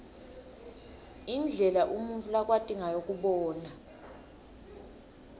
indlela umuntfu lakwati ngayo kubona